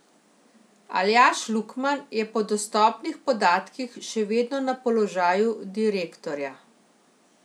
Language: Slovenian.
Aljaž Lukman je po dostopnih podatkih še vedno na položaju direktorja.